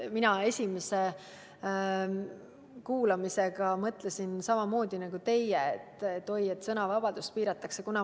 Mina esimesel kuulamisel mõtlesin samamoodi nagu teie, et oi, sõnavabadust piiratakse.